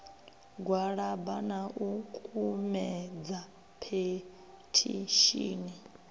gwalaba na u kumedza phethishini